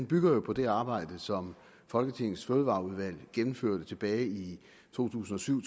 bygger på det arbejde som folketingets fødevareudvalg gennemførte tilbage i to tusind og syv